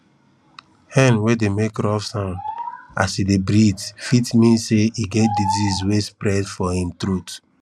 hen wey dey make rough sound as e dey breathe fit mean say e get disease wey dey spread for im throat